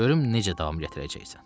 Görüm necə davam gətirəcəksən.